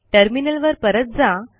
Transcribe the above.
टर्मिनलवर परत जा